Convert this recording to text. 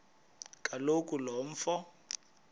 kaloku lo mfo